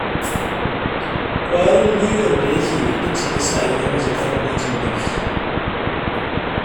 Ƙwarin gwiwar da yake da ita ce ta sa ya zama zakaran gwajin dafi